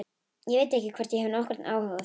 Ég veit ekki hvort ég hef nokkurn áhuga á því.